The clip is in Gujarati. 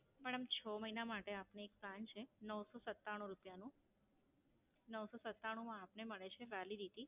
મેડમ છ મહિના માટે આપને એક Plan છે, નવસો સત્તાણું રૂપિયાનો. નવસો સત્તાણું માં આપને મળે છે Validity